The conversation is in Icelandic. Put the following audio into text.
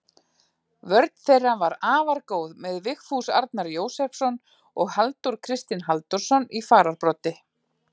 Vörn þeirra var afar góð með Vigfús Arnar Jósepsson og Halldór Kristinn Halldórsson í fararbroddi.